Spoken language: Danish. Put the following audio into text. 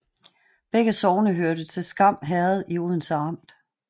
Begge sogne hørte til Skam Herred i Odense Amt